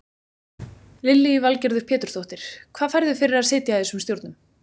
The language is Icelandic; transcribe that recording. Lillý Valgerður Pétursdóttir: Hvað færðu fyrir að sitja í þessum stjórnum?